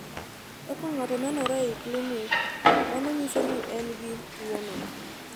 Kaka ng’ato nenore e klinik, mano nyiso ni en gi tuwono.